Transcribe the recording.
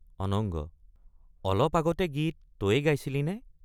অনঙ্গ—অলপ আগতে গীত তয়ে গাইছিলি নে?